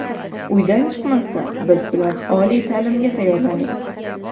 Uydan chiqmasdan biz bilan oliy ta’limga tayyorlaning.